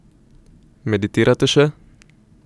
Meditirate še?